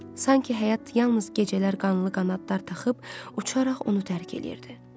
Sanki həyat yalnız gecələr qanlı qanadlar taxıb, uçaraq onu tərk edirdi.